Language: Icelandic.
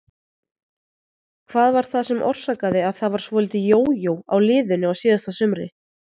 Hvað var það sem orsakaði að það var svolítið jójó á liðinu á síðasta sumri?